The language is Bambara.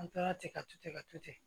An tora ten ka to ten ka to ten